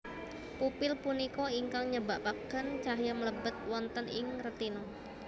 Pupil punika ingkang nyebabaken cahya mlebet wonten ing retina